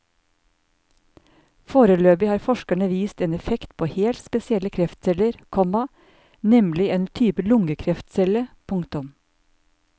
Foreløpig har forskerne vist en effekt på helt spesielle kreftceller, komma nemlig en type lungekreftcelle. punktum